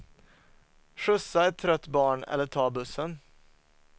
Skjutsa ett trött barn eller ta bussen.